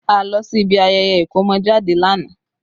A lọ sí ibi ayẹyẹ ikomojade lánàá